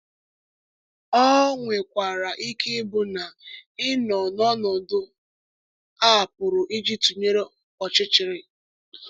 Ọ nwekwara ike ịbụ na ị nọ n’ọnọdụ a pụrụ iji tụnyere ọchịchịrị.